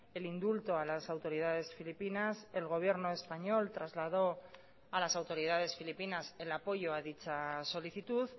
el indulto a las autoridades filipinas el gobierno español trasladó a las autoridades filipinas el apoyo a dicha solicitud